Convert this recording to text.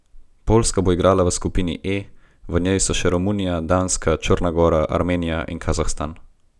Poljska bo igrala v skupini E, v njej so še Romunija, Danska, Črna gora, Armenija in Kazahstan.